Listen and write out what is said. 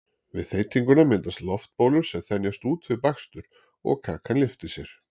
Við þeytinguna myndast loftbólur sem þenjast út við bakstur og kakan lyftir sér.